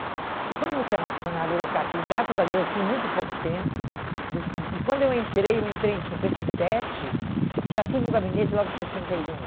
Porque quando você é uma funcionária burocrática, e graças a Deus eu fui muito pouco tempo, e quando eu entrei, eu entrei em cinquenta e sete, e já fui no gabinete logo em sessenta e um.